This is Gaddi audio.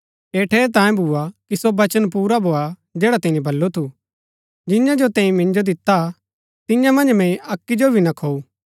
ऐह ठेरैतांये भूआ कि सो वचन पुरा भोआ जैडा तिनी बल्लू थू जियां जो तैंई मिन्जो दिता तियां मन्ज मैंई अक्की जो भी ना खोऊ